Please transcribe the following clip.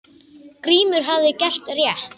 Grímur hafði gert rétt.